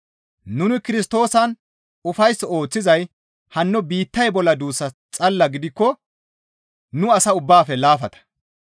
Nuni Kirstoosan ufays ooththizay hanno biittay bolla duussas xalla gidikko nu asaa ubbaafe laafata.